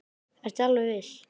Ertu alveg viss?